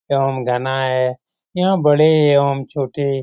एवं घना है यहाँ बड़े एवं छोटे --